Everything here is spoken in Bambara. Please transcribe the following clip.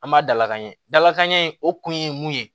An b'a dalakanɲɛ dalakan ɲɛ in o kun ye mun ye